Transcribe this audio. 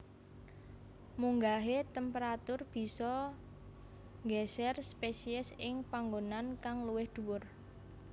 Munggahe temperatur bisa nggeser spesies ing panggonan kang luwih dhuwur